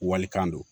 Walikan don